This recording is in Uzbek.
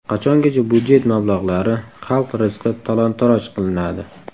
Qachongacha budjet mablag‘lari, xalq rizqi talon-toroj qilinadi?!